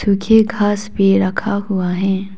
पीछे घास भी रखा हुआ है।